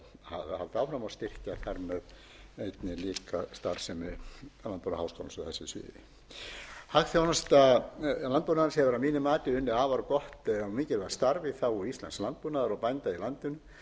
á hvanneyri um þau verkefni sem mikilvægt er að halda áfram og styrkja þar með einnig líka starfsemi landbúnaðarháskólans á þessu sviði hagþjónusta landbúnaðarins hefur að mínu mati unnið afar gott